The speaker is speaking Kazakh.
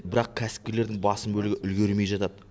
бірақ кәсіпкерлердің басым бөлігі үлгермей жатады